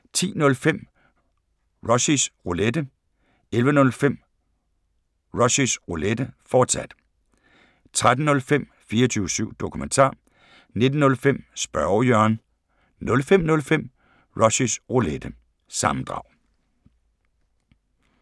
10:05: Rushys Roulette 11:05: Rushys Roulette, fortsat 13:05: 24syv Dokumentar 19:05: Spørge Jørgen 05:05: Rushys Roulette – sammendrag